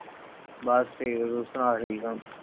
ਬਸ ਠੀਕ ਆ, ਤੂੰ ਸੁਣਾ ਠੀਕ ਆਂ?